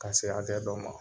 Ka se hakɛ dɔ ma.